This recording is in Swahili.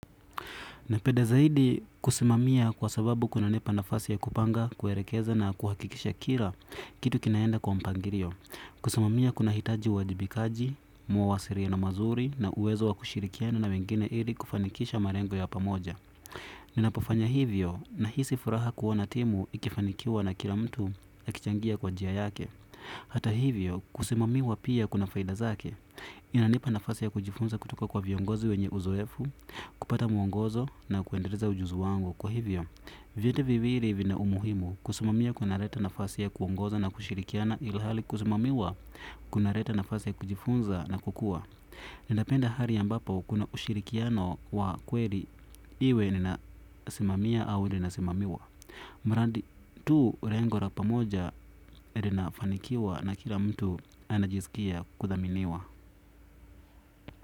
Napenda zaidi kusimamia kwa sababu kuna nipa nafasi ya kupanga kuelekeza na kuhakikisha kila kitu kinaenda kwa mpangilio. Kusimamia kunahitaji uwajibikaji, uwasiliano mzuri na uwezo wa kushirikiana na wengine ili kufanikisha malengo ya pamoja. Ninapofanya hivyo nahisi furaha kuwa na timu ikifanikiwa na kila mtu akichangia kwa njia yake. Hata hivyo kusimamiwa pia kuna faida zake inanipa nafasi ya kujifunza kutoka kwa viongozi wenye uzoefu kupata muongozo na kuendeleza ujuzi wangu kwa hivyo vyote vivi hivi vina umuhimu kusimamiwa kuna leta nafasi ya kuongoza na kushirikiana ilhali kusimamiwa kuna leta nafasi ya kujifunza na kukua. Nindapenda hali ambapo kuna ushirikiano wa kweli iwe nina simamia au nina simamiwa mradi tu ulengo wa pamoja inafanikiwa na kila mtu anajisikia kudhaminiwa.